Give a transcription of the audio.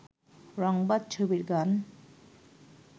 রংবাজ ছবির গান